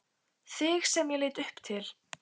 Þig sem ég leit upp til.